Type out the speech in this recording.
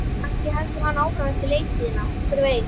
Kannski heldur hann áfram eftir leiktíðina, hver veit?